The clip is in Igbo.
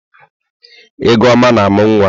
Egoma na-amụ nwa.